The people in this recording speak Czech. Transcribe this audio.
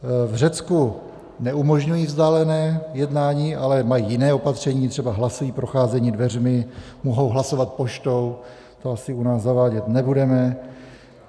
V Řecku neumožňují vzdálené jednání, ale mají jiné opatření, třeba hlasují procházením dveřmi, mohou hlasovat poštou - to asi u nás zavádět nebudeme.